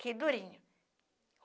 Que durinho.